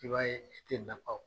I b'a ye, i ti nafa